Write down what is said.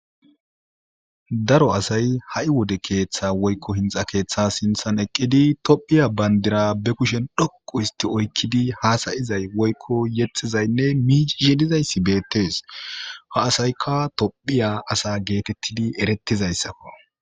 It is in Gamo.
daro asay ha7i wode keeththa woykko hinxa keeththa sinthan eqqidi tophiya bandira be kushen dhoqu histi oykkidi haasayizay woykko yetxizaynne miiji sedizayssi beettes ha asaykka tophiya asa geekettidi erettizayssakko